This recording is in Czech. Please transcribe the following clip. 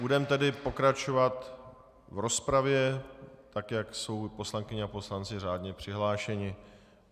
Budeme tedy pokračovat v rozpravě, tak jak jsou poslankyně a poslanci řádně přihlášeni.